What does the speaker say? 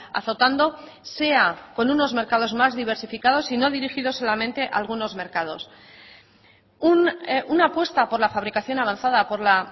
azotando sea con unos mercados más diversificados y no dirigidos solamente a algunos mercados una apuesta por la fabricación avanzada por la